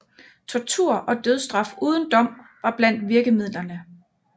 Tortur og dødsstraf uden dom var blandt virkemidlerne